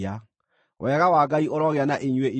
Wega wa Ngai ũrogĩa na inyuĩ inyuothe.